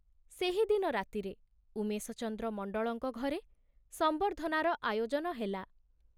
ସେହିଦିନ ରାତିରେ ଉମେଶଚନ୍ଦ୍ର ମଣ୍ଡଳଙ୍କ ଘରେ ସମ୍ବର୍ଦ୍ଧନାର ଆୟୋଜନ ହେଲା।